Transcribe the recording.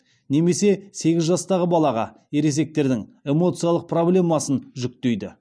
немесе сегіз жастағы балаға ересектердің эмоциялық проблемасын жүкейді